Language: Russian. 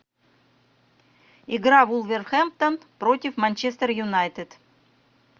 игра вулверхэмптон против манчестер юнайтед